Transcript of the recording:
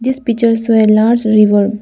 this picture is where large river--